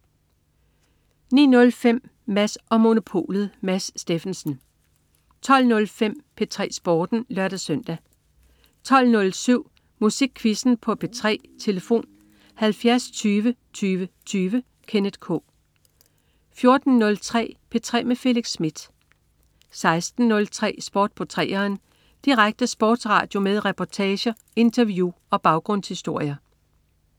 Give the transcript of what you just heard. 09.05 Mads & Monopolet. Mads Steffensen 12.05 P3 Sporten (lør-søn) 12.07 Musikquizzen på P3. Tlf.: 70 20 20 20. Kenneth K 14.03 P3 med Felix Smith 16.03 Sport på 3'eren. Direkte sportsradio med reportager, interview og baggrundshistorier